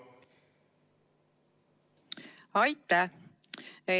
Aitäh!